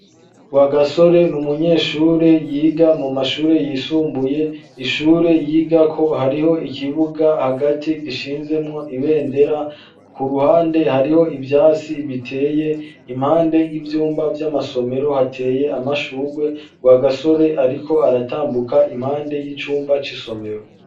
Rwagasore n'umunyeshure yiga mu mashure yisumbuye ishure yigako hariho ikibuga hagati gishinzemwo ibendera ku ruhande hariho ivyasi biteye impande y'ivyumba vy'amasomero hateye amashurwe Rwagasore ariko aratambuka impande y'icumba c'isomero.